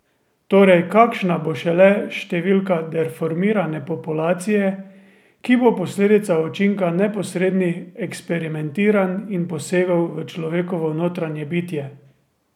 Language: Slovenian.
Torej, kakšna bo šele številka deformirane populacije, ki bo posledica učinka neposrednih eksperimentiranj in posegov v človekovo notranje bitje?